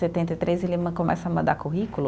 Setenta e três ele começa a mandar currículo.